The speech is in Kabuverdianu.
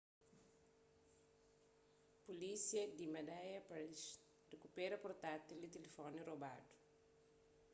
pulísia di madhya pradesh rikupera portátil y telemóvel robadu